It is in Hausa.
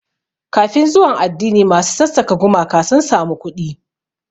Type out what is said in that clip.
Kafin zuwan addini, masu sassaka gumaka sun samu kuɗi.